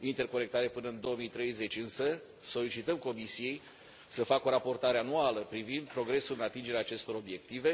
interconectare până în 2030, însă solicităm Comisiei să facă o raportare anuală privind progresul de atingere a acestor obiective.